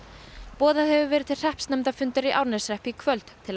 boðað hefur verið til hreppsnefndarfundar í Árneshreppi í kvöld til að